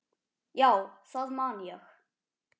Já, það man ég